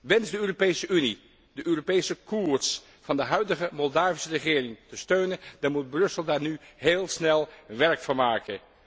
Wenst de Europese Unie de Europese koers van de huidige Moldavische regering te steunen, dan moet Brussel daar nu heel snel werk van maken.